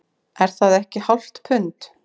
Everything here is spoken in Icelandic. Er það ekki hálft pund